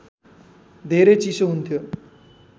धेरै चिसो हुन्थ्यो